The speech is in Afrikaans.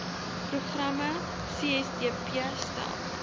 programme csdp stel